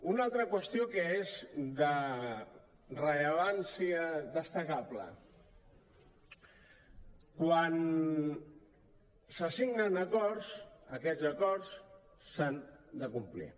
una altra qüestió que és de rellevància destacable quan se signen acords aquests acords s’han de complir